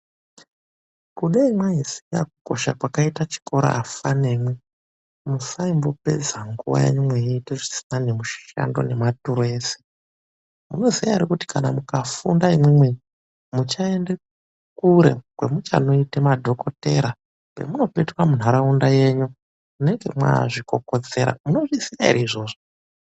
Kudai mwaiziya kukosha kwakaite chikora afane imwi musaimbopedza nguva yenyu mweyiita zvisina nemushando nematuro ese. Munozviziya ere kuti kana mukafunda imwimwi muchaende kure kwemuchandoite madhokodheya? Pemuchapekuta munharaunda yenyu munenge mwaazvikokotseya munozviziya ere izvozvo?